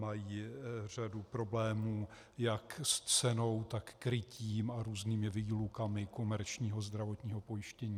Mají řadu problémů jak s cenou, tak krytím a různými výlukami komerčního zdravotního pojištění.